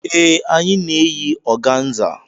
Ee, anyị na-eyi organza.